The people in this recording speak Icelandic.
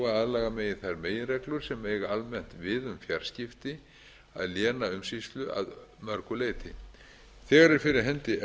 aðlaga megi þær meginreglur sem eiga almennt við um fjarskipti að lénaumsýslu að mörgu leyti þegar er